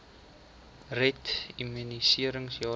red immunisering jaarliks